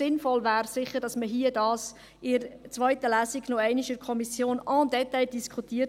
– Sinnvoll wäre es sicher, dies in der zweiten Lesung in der Kommission en détail zu diskutieren.